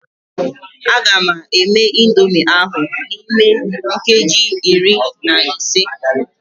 A ga-eme indomie ahụ n'ime nkeji iri na ise.